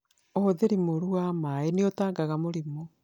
ũhũthĩri muuru wa maĩ nĩ utaangaga mũrĩmi